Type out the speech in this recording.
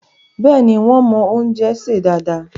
Bẹ́ẹ̀ni, wón mọ́ oúnjẹ sè dáadáa